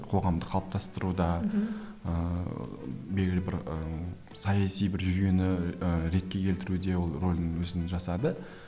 қоғамды қалыптастыруда мхм ыыы белгілі бір ііі саяси бір жүйені ііі ретке келтіруде ол рөлін өзінің жасады